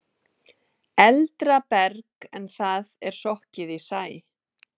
Eldra berg en það er sokkið í sæ.